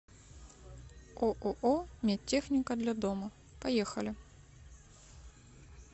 ооо медтехника для дома поехали